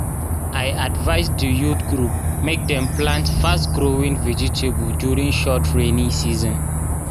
i advise di youth group mek dem plant fast-growing vegetables during short rainy season.